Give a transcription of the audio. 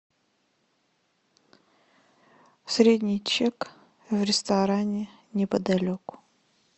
средний чек в ресторане неподалеку